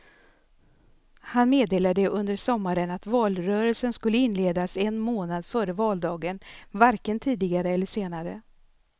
Han meddelade under sommaren att valrörelsen skulle inledas en månad före valdagen, varken tidigare eller senare.